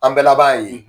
An bɛɛ laban ye